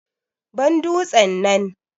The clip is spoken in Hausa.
Ban dutsen nan.